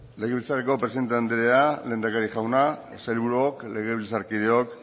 legebiltzarreko presidente andrea lehendakari jauna sailburuok legebiltzarkideok